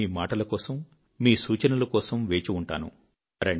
నేను మీ మాటల కోసం మీ సూచనల కోసం వేచి ఉంటాను